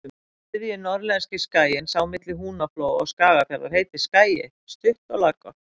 Þriðji norðlenski skaginn, sá milli Húnaflóa og Skagafjarðar, heitir Skagi, stutt og laggott.